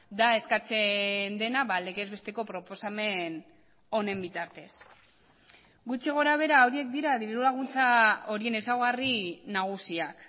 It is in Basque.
da eskatzen dena legez besteko proposamen honen bitartez gutxi gorabehera horiek dira diru laguntza horien ezaugarri nagusiak